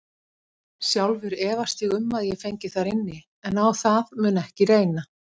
Sjálfur efast ég um að ég fengi þar inni, en á það mun ekki reyna.